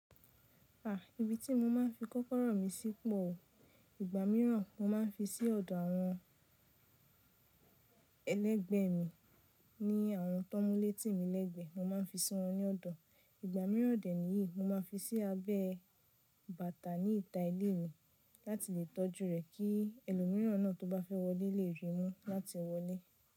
A, ibi tí mo máa ń fi kọ́kọ́rọ́ mi sí pọ̀ o. Ìgbà mìíràn mo ma ń fi sí ọ̀dọ̀ àwọn ẹlẹ́gbẹ̀ẹ́ mi ní àwọn tó múle tí mi lẹ́gbẹ̀ẹ́, mo máa ń fi sí wọn ní lọ̀dọ̀. Ìgbà mìíràn dẹ̀ níyìí, mo má n fi sí abẹ́ bàtà ní ìta ilé mi láti lè tọ́jú rẹ̀ kí ẹlòmíràn náà tó bá fẹ́ wọlé lè rí i mú láti wọlé.